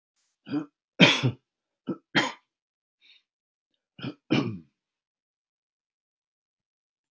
Gerði það fyrir þig af því að þú nauðaðir svo mikið í mér.